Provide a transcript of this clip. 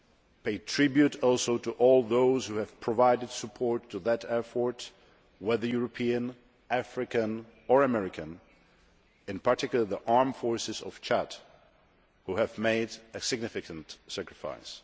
I pay tribute also to all those who have provided support to that effort, whether European, African or American, in particular the armed forces of Chad, who have made a significant sacrifice.